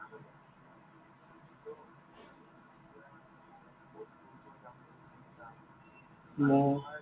মই